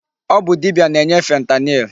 Ọ bụ dibia na-enye fentanyl.